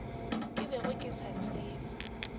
ke bego ke se tseba